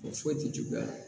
O foyi tɛ juguya